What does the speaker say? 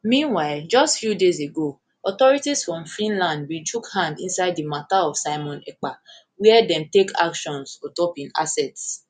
meanwhile just few days ago authorities for finland bin chook hand inside di matter of simon ekpa wia dem take actions ontop im assets